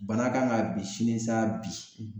Bana kan ga bi sini sa bi